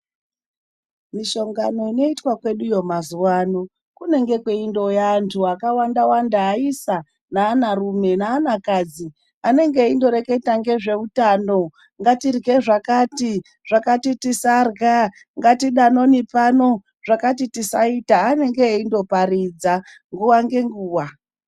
Mihlongani inoitwa kweduyo mazuwa ano, kunenge kweindouya antu akawanda wanda, aisa naanarume naanakadzi, anenge eingoreketa ngezveutano, ngatirye zvakati, zvakati tisarya, ngatidanoni pano, zvakati tisaita. Vanenge veindoparidza nguwa ngenguwa.